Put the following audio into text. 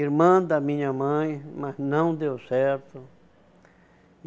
Irmã da minha mãe, mas não deu certo.